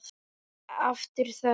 Aftur þögn.